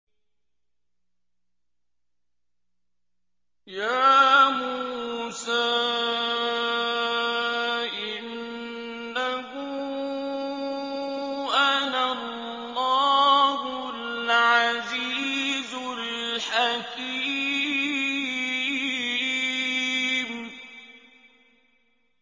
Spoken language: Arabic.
يَا مُوسَىٰ إِنَّهُ أَنَا اللَّهُ الْعَزِيزُ الْحَكِيمُ